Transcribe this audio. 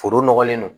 Foro nɔgɔlen don